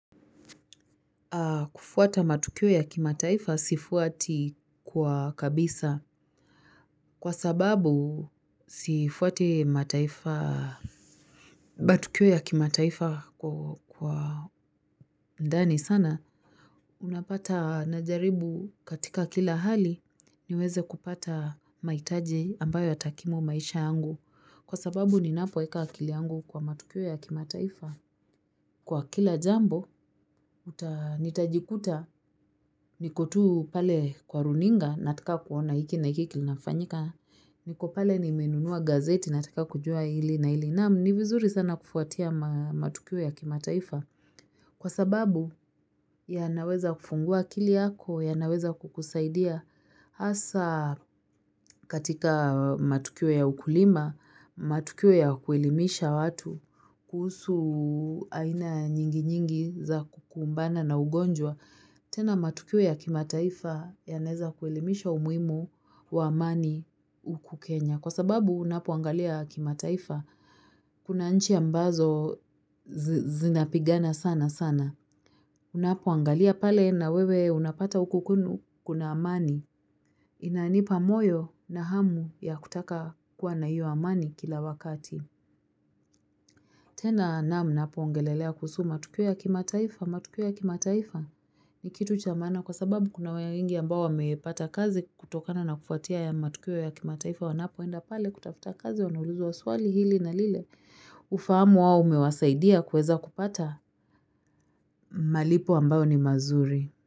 Kufuata matukio ya kimataifa sifuati kwa kabisa kwa sababu sifuati matukio ya kimataifa kwa ndani sana. Unapata najaribu katika kila hali niweze kupata maitaji ambayo yatakimu maisha yangu kwa sababu ni napoeka akili yangu kwa matukio ya kimataifa. Kwa kila jambo, nitajikuta niko tu pale kwa runinga, nataka kuona iki na iki kilinafanyika, niko pale nimenunua gazeti, nataka kujua ili na ili. Naam ni vizuri sana kufuatia matukio ya kimataifa kwa sababu yanaweza kufungua akili yako, yanaweza kukusaidia. Asa katika matukio ya ukulima, matukio ya kuelimisha watu, kuhusu aina nyingi nyingi za kukumbana na ugonjwa. Tena matukio ya kimataifa yanaweza kuelimisha umuimu wa amani uku Kenya. Kwa sababu unapoangalia kimataifa, kuna nchi ambazo zinapigana sana sana. Unapoangalia pale na wewe unapata huko kwenu kuna amani. Inanipa moyo na hamu ya kutaka kuwa na hiyo amani kila wakati. Tena namna napuongelelea kuhusu matukio ya kimataifa, matukio ya kimataifa. Ni kitu cha maana kwa sababu kuna wewe wengi ambao wamepata kazi kutokana na kufatia haya matukio ya kimataifa. Wanapoenda pale kutafuta kazi, wanauluzwa swali hili na lile. Ufahamu wao umewasaidia kueza kupata malipo ambayo ni mazuri.